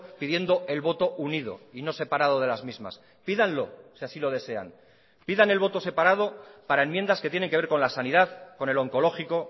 pidiendo el voto unido y no separado de las mismas pídanlo si así lo desean pidan el voto separado para enmiendas que tienen que ver con la sanidad con el oncológico